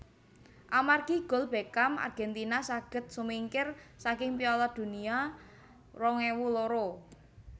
Amargi gol Beckham Argentina saged sumingkir saking Piala Dunia rong ewu loro